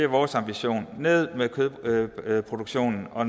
vores ambition ned med kødproduktionen og